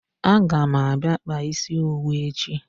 A ga m abia kpaa isi owu echi